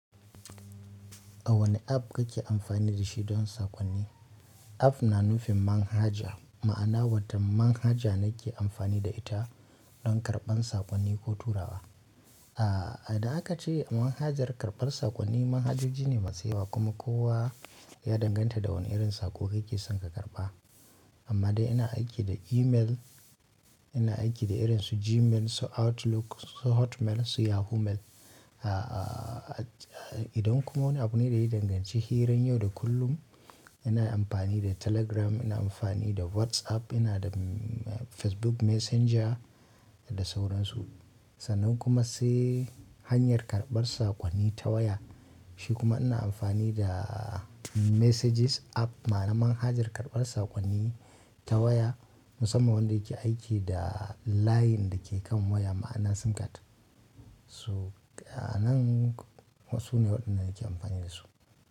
A wane app kake amfani da shi don saƙonni? App na nufin manhaja, ma'ana wata manhaja nake amfani da ita don karɓar saƙonni ko turawa. Ah, da aka ce manhajar karɓar saƙonni manhajoji ne ne masu yawa kuma kowa ya danganta da wane irin saƙo kake son ka karɓa. Amma dai ina aiki da email, ina aiki da irin su Gmail, su Outlook, su Hotmail, su Yahoo Mail. Ah, idan kuma wani abu ne da ya danganci hirar yau da kullum ina amfani da Telegram, ina amfani da WhatsApp, ina da Facebook Messenger da sauransu. Sannan kuma sai hanyar karɓar sakonni ta waya. Shi kuma ina amfani da Messages app ma'ana manhajar karɓar sakonni ta waya, musamman wanda yake amfani da layin dake kan waya, ma'ana sim card. So a nan sune waɗanda nake amfani da su.